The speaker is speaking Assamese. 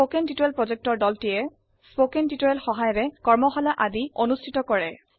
কথন শিক্ষণ প্ৰকল্পৰ দলটিয়ে কথন শিক্ষণ সহায়িকাৰে কৰ্মশালা আদি অনুষ্ঠিত কৰে